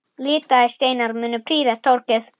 Litaðir steinar munu prýða torgið.